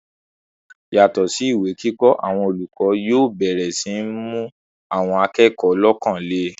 yàtọ̀ sí ìwé kíkọ́, àwọn olùkọ́ yóò bẹ̀rẹ̀ sí ní mú àwọn akẹ́kọ̀ọ́ lọ́kàn le